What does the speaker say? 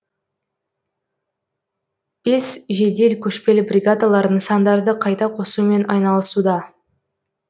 бес жедел көшпелі бригадалар нысандарды қайта қосумен айналысуда